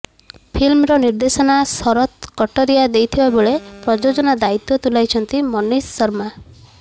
ଫିଲ୍ମର ନିର୍ଦ୍ଦେଶନା ଶରତ କଟରିଆ ଦେଇଥିବା ବେଳେ ପ୍ରୋଯୋଜନା ଦାୟିତ୍ୱ ତୁଲାଇଛନ୍ତି ମନୀଷ ଶର୍ମା